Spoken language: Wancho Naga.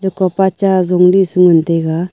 kopa cha zumdi ngan taiga.